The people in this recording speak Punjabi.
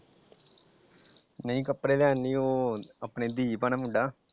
ਨਹੀਂ ਕੱਪੜੇ ਲੈਣ ਨੀ ਉਹ ਆਪਣੇ ਦੀਪ ਹਣਾ ਮੁੰਡਾ ।